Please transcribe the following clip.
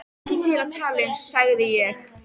Ekki til að tala um, sagði ég.